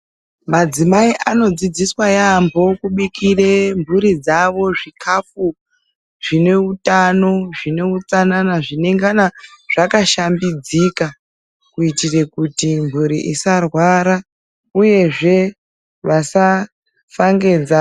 Madzimai anodzidziswa yaamho kubikire mhuri dzawo zvikafu zvine utano, zvine utsanana, zvinengana zvakashambidzika. Kuitira kuti mhuri isarwara uyezve kuti isafa ngenzara.